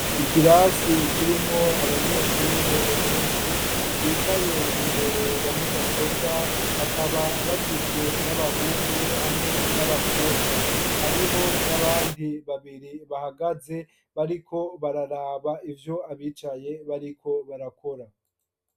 Ikirasi kirimwo abanyeshure benshi bicaye imbere ya mudasobwa bakaba bagizwe n'abahungu hamwe n'abakobwa, hariho n'abandi babiri bahagaze bariko bararaba ivyo abicaye bariko barakora.